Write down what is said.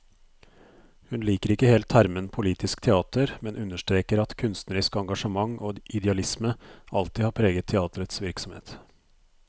Hun liker ikke helt termen politisk teater, men understreker at kunstnerisk engasjement og idealisme alltid har preget teaterets virksomhet.